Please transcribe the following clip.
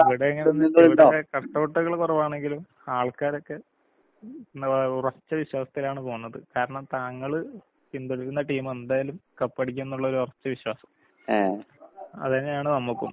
ഇവടേങ്ങനേ പറഞ്ഞാ ഇവടെ കട്ടൗട്ട്കള് കൊറവാണെങ്കിലും ആൾക്കാരൊക്കെ എന്താ പറയാ ഉറച്ച വിശ്വാസത്തിലാണ് പോകുന്നത്. കാരണം താങ്കള് പിന്തുടരുന്ന ടീമെന്തായാലും കപ്പടിക്കൂന്നൊള്ളൊരൊറച്ച വിശ്വാസം. അതന്നെയാണ് നമ്മക്കും.